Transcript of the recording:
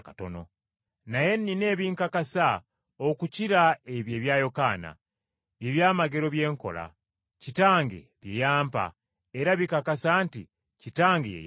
“Naye nnina ebinkakasa okukira ebyo ebya Yokaana, bye byamagero bye nkola, Kitange bye yampa, era bikakasa nti Kitange ye yantuma